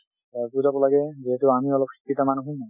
বুজাব লাগে যিহেতু আমি অলপ শিক্ষিত মানুহ ।